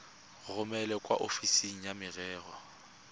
romele kwa ofising ya merero